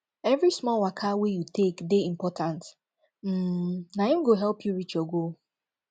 every small waka wey you take dey important um na im go help you reach your goal